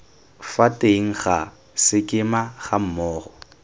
fa teng ga sekema gammogo